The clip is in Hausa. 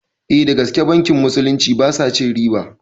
Eh dagaske bankin musulunci basa cin riba